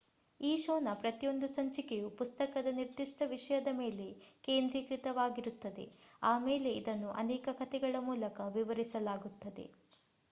ಈ ಶೋನ ಪ್ರತಿಯೊಂದು ಸಂಚಿಕೆಯು ಪುಸ್ತಕದ ನಿರ್ದಿಷ್ಟ ವಿಷಯದ ಮೇಲೆ ಕೇಂದ್ರಿತವಾಗಿರುತ್ತದೆ ಆಮೇಲೆ ಇದನ್ನು ಅನೇಕ ಕಥೆಗಳ ಮೂಲಕ ವಿವರಿಸಲಾಗುತ್ತದೆ